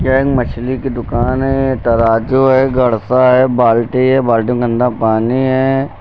ये एक मछली की दुकान है तराजू है गडसा है बाल्टी है बाल्टी में गंदा पानी है।